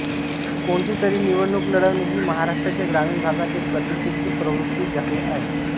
कोणतीतरी निवडणूक लढवणे ही महाराष्ट्राच्या ग्रामीण भागात एक प्रतिष्ठेची प्रवृत्ती झाली आहे